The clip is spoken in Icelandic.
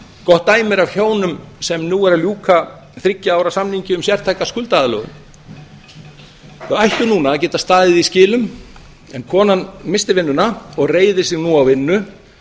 gott dæmi er af hjónum sem nú eru að ljúka þriggja ára samningi um sértæka skuldaaðlögun þau ættu núna að geta staðið í skilum en konan missti vinnuna og reiðir sig nú á vinnu